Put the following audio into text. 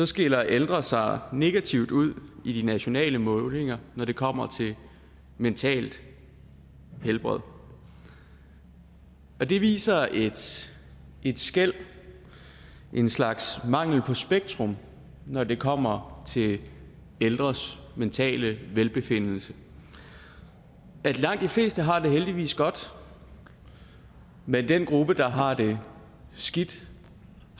skiller ældre sig negativt ud i de nationale målinger når det kommer til mentalt helbred og det viser et skel en slags mangel på spektrum når det kommer til ældres mentale velbefindende langt de fleste har det heldigvis godt men den gruppe der har det skidt